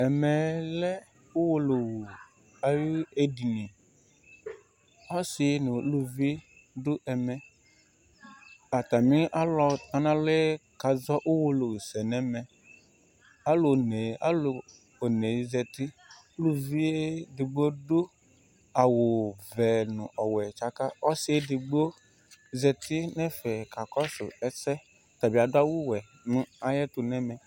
Ɛmɛ lɛ uwolowu ayiʋ ediniƆsi nu uluvi dʋ ɛmɛAtami ɔlutɔnalɔɛ kazɔ uwolowu sɛ nɛmɛAlu one, alu onee zatiUluvi ɛdigbo dʋ awu vɛ nu ɔwɛ tsakaƆsi ɛdigbo zati nɛfɛ kakɔsʋ ɛsɛƆtabi adʋ awu wɛ nʋ ayɛtu nɛmɛ